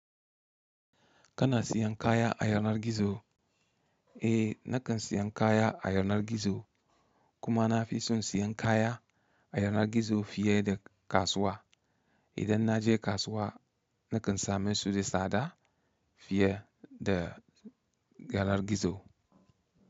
Kana siyan kaya a yanar gizo? Eh, nakan siyan kaya a yanar gizo. Kuma na fi son siyan kaya a yanar gizo fiye da kasuwa. Idan na je kasuwa nakan sami su da tsada fiye da yanar gizo.